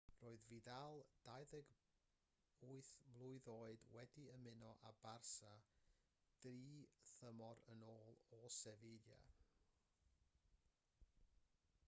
roedd vidal 28 oed wedi ymuno â barça dri thymor yn ôl o sevilla